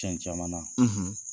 Tiɲɛ caman,